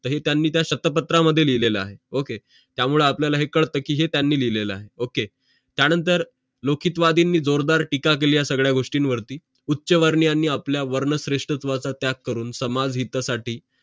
तरी त्यांनी त्या शतपत्रा मध्ये लिहिलेलं आहे ओके त्यामुळे आपल्याला है काढते कि हे त्यांनी लिहिलेलं आहे ओके त्यानंतर मुखींतवादींनी जोरदार टीका केल्या या सांगड्या गोष्टीं वरती उच्च्वर्णीयांनी आपल्या वर्ण श्रेष्ठत्वाचं त्याग करून समाज हितासाठी